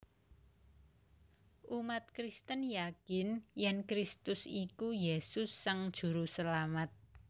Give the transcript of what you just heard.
Umat Kristen yakin yèn Kristus iku Yesus Sang Juruselamat